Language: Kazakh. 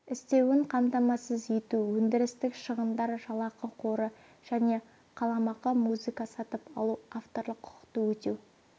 істеуін қамтамасыз ету өндірістік шығындар жалақы қоры және қаламақы музыка сатып алу авторлық құқықты өтеу